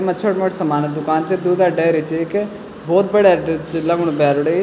येमा छोट मोट समान क दुकान च दूधे डेरी च एक भौत बढ़या दुध च लगणु भैर बटै।